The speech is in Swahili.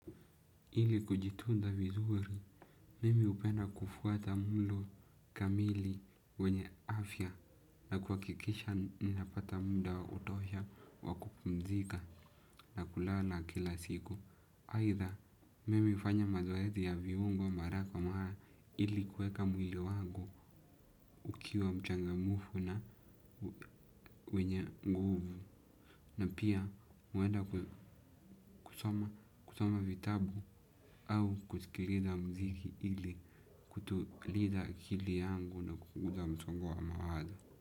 Ili kujitunza vizuri, mimi hupenda kufuata mlo kamili wenye afya na kuhakikisha ninapata muda wa kutosha wa kupumzika na kulala kila siku. Aidha, mimi hufanya mazoezi ya viungo mara kwa mara ili kuweka mwili wangu ukiwa mchangamfu na wenye nguvu. Na pia huenda kusoma vitabu au kusikiliza muziki ili kutuliza akili yangu na kupunguza msongo wa mawazo.